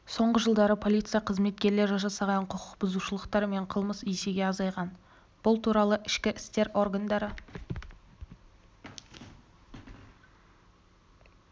соңғы жылдары полиция қызметкерлері жасаған құқық бұзушылықтар мен қылмыс есеге азайған бұл туралы ішкі істер органдары